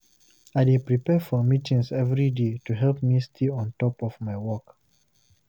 I dey prepare for meetings every day to help me stay on top of my work.